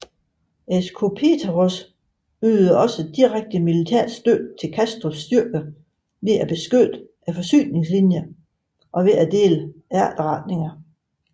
Escopeteros ydede også direkte militær støtte til Castros styrker ved at beskytte forsyningslinjerne og ved at dele efterretninger